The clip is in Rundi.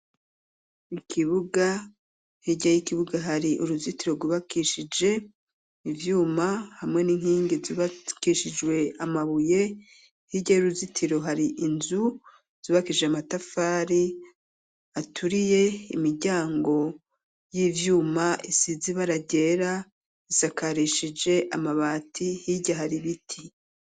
Ikibuga hirya y'ikibuga hari uruzitiro rwubakishije ivyuma, hamwe n'inkingi zubakishijwe amabuye, hirya y'uruzitiro hari inzu zubakishije amatafari aturiye, imiryango y'ivyuma isize ibara ryera isakarishije amabati ,hirya hari biti.